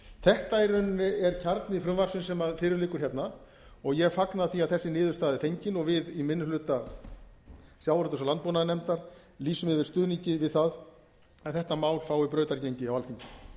þetta er í rauninni kjarni frumvarpsins sem fyrir liggur hérna og ég fagna því að þessi niðurstaða er fengin og við í minni hluta sjávarútvegs og landbúnaðarnefndar lýsum yfir stuðningi við það að þetta mál fái brautargengi á alþingi